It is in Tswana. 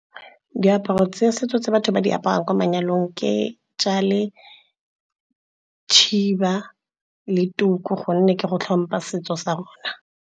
Diaparo tsa setso tse batho ba di apaya kwa manyalong ke , tšhiba le tuku gonne ke go tlhompha setso sa rona.